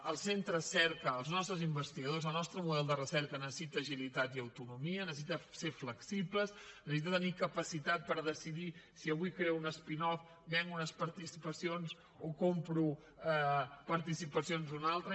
els centres cerca els nostres investigadors el nostre model de recerca necessiten agilitat i autonomia necessiten ser flexibles necessiten tenir capacitat per decidir si avui creen una spin off venen unes participacions o compren participacions d’una altra